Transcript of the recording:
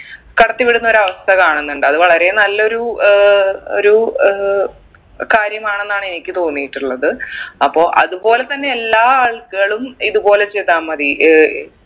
കടത്തിവിടുന്ന ഒരു അവസ്ഥ കാണുന്നുണ്ട് അത് വളരെ നല്ലൊരു ഏർ ഒരു ഏർ കാര്യമാണെന്നാണ് എനിക്ക് തോന്നിയിട്ടുള്ളത് അപ്പൊ അത്പോലെ തന്നെ എല്ലാ ആളുകളും ഇത്പോലെ ചെയ്താമതി ഏർ